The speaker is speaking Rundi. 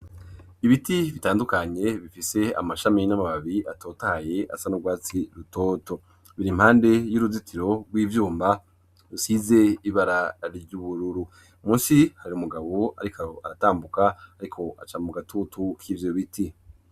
Ibiti bitandukanye bifise amashami n'amababi atotahaye asa n'urwatsi rutoto biri impande y'uruzitiro rw'ivyumba rusize ibara ry'ubururu munsi hari umugabo ariko aratambuka ariko aca mu gatutu k'ivyo biti.